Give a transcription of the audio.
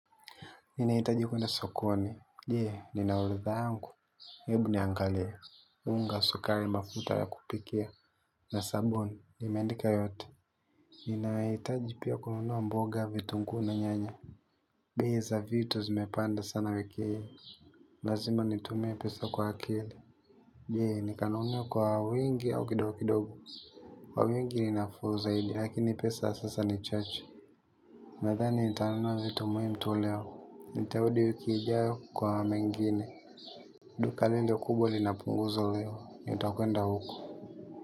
Ninahitaji kwenda sokoni. Je, nina orodha yangu. Ebu niangalie. Unga, sukari mafuta ya kupikia. Na sabuni. Nimeandika yote. Ninahitaji pia kununua mboga vitunguu na nyanya. Bei za vitu zimepanda sana wiki hii. Lazima nitumie pesa kwa akili. Je, nikanunue kwa wingi au kidogo kidogo. Kwa wingi ni nafuu zaidi. Lakini pesa sasa ni chache. Nadhani, nitanunua vitu muhimu tu leo. Nitarudi wiki ijayo kwa mengine. Duka lile kubwa lina punguzo leo. Nitakwenda huko.